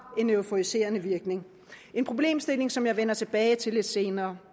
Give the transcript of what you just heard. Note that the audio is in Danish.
euforiserende virkning en problemstilling som jeg vender tilbage til lidt senere